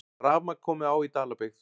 Rafmagn komið á í Dalabyggð